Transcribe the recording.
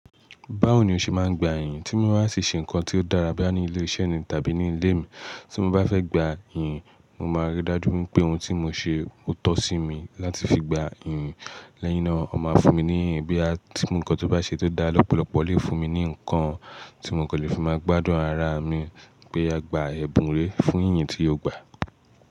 Báwo ni o ṣe máa ń gba ìyìn? Tí mo bá tì ṣe nǹkan tí ó dára bóyá ní ilé-iṣẹ́ ni tàbí ní ilé mi, tí mo bá fẹ́ gba ìyìn, mo máa ríi dájú pé ohun tí mo ṣe ó tọ́ sí mi láti fi gba ìyìn. Lẹ́yìn náà, ọ máa fún mi ní ìyìn bóyá tí ǹkan tó bá ṣe tó dára lọ́pọ̀lọpọ̀ lè fún mi ní ǹkan tí mo kò lè fi máa gbádùn ara mi pé a gba ẹ̀bùn re fún ìyìn tí o gbà.